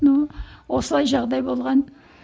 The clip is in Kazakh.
ну осылай жағдай болған